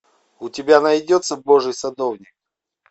у тебя найдется божий садовник